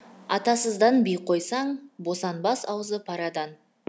атасыздан би қойсаң босанбас аузы парадан